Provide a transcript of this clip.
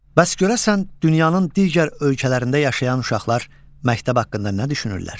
Bəs görəsən dünyanın digər ölkələrində yaşayan uşaqlar məktəb haqqında nə düşünürlər?